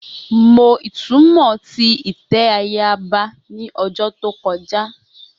Mo itumọ ti itẹ ayaba ni ọdun to kọja